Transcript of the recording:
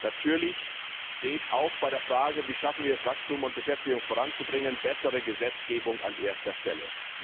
Natürlich steht auch bei der Frage, wie wir es schaffen, Wachstum und Beschäftigung voranzubringen, eine bessere Gesetzgebung an erster Stelle.